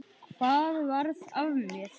Hvað varð af mér?